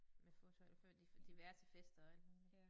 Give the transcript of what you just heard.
Med foto eller før de diverse fester og alt muligt